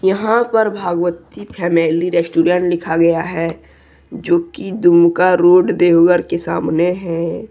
यहां पर Bhagwati family restaurant लिखा गया है जो की दुमका रोड देवघर के सामने है।